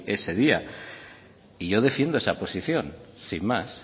ese día y yo defiendo esa posición sin más